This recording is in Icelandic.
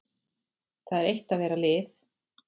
Það er eitt að vera lið.